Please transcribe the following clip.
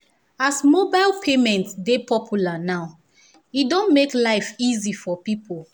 as mobile payment dey popular now e don make life easy for people